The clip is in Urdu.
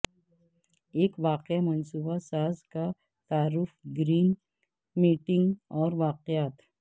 ایک واقعہ منصوبہ ساز کا تعارف گرین میٹنگ اور واقعات